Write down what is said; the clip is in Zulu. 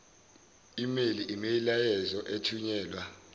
email imiyalezo ethunyelwa